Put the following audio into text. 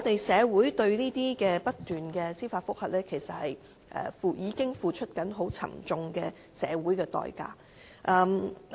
社會對這些不斷出現的司法覆核，已經付出很沉重的代價。